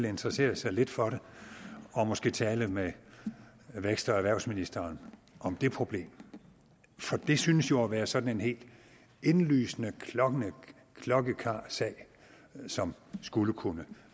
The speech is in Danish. interessere sig lidt for det og måske tale med vækst og erhvervsministeren om det problem for det synes jo at være sådan en helt indlysende klokkeklar sag som skulle kunne